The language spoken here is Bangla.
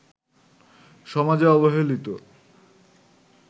সমাজে অবহেলিত